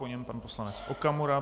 Po něm pan poslanec Okamura.